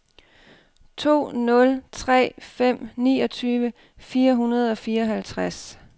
to nul tre fem niogtyve fire hundrede og fireoghalvtreds